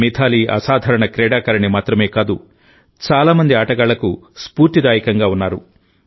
మిథాలీ అసాధారణ క్రీడాకారిణి మాత్రమే కాదుచాలా మంది ఆటగాళ్లకు స్ఫూర్తిదాయకంగా ఉన్నారు